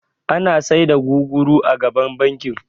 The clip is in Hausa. Ana sai da guguru a gaban bankin